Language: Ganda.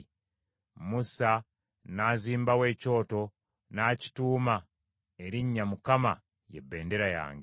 Musa n’azimbawo ekyoto n’akituuma erinnya Mukama ye Bendera Yange.